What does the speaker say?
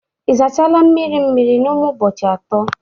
ị sachala mmiri mmiri n'ime ụbọchị atọ?